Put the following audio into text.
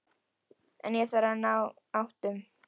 En ég þarf að ná áttum.